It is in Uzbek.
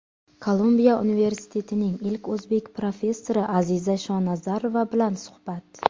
Kolumbiya universitetining ilk o‘zbek professori Aziza Shonazarova bilan suhbat.